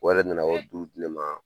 O yɛrɛ nana di ne ma